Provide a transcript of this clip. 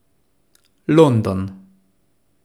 London.